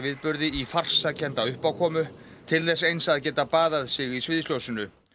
sorgarviðburði í farsakennsa uppákomu til þess eins að geta baðað sig í sviðsljósinu